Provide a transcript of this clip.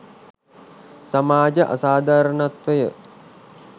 සමාජ අසාධාරණත්වය